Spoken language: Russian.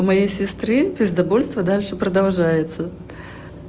у моей сестры пиздобольство дальше продолжается